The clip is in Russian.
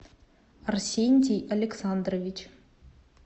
арсентий александрович